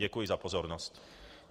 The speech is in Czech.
Děkuji za pozornost.